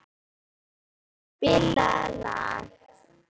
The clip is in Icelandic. Jarl, spilaðu lag.